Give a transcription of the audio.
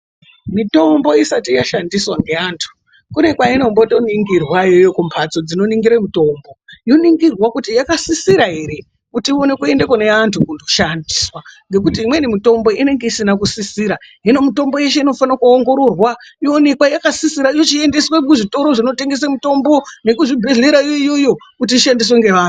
Mitombo isati yashandiswa nevantu kune kwainotoningirwa kumbadzo dzinoningire mitombo yoningirwa kuti yakasisira here kuti ione kuende kune vantu kunoshandiswa nekuti imweni mitombo inenge isina kusisira, zvino mitombo inofanirwe kusisirwa yoonekwa yakasisira yochiendeswe kuzvitoro zvinotengeswe mitombo nemuzvibhedhlera iyoyoyo kuti ishandiswe nevantu.